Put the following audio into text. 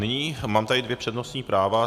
Nyní mám tady dvě přednostní práva.